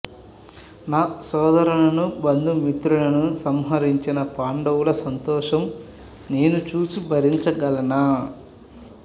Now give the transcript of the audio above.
నా సోదరులను బంధు మిత్రులను సంహరించిన పాడవుల సంతోషం నేను చూసి భరించగలనా